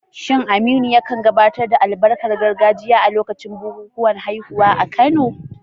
Shin Aminu ya kan gabatar da albarkar gargajiya a lokacin bukukuwan haihuwa a Kano?